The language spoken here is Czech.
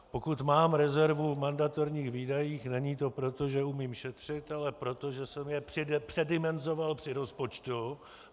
Pokud mám rezervu v mandatorních výdajích, není to proto, že umím šetřit, ale proto, že jsem je předimenzoval při rozpočtu.